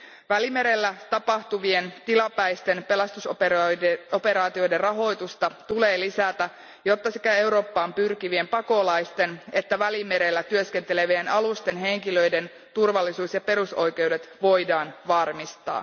Välimerellä tapahtuvien tilapäisten pelastusoperaatioiden rahoitusta tulee lisätä, jotta sekä Eurooppaan pyrkivien pakolaisten että Välimerellä työskentelevien alusten henkilöiden turvallisuus ja perusoikeudet voidaan varmistaa.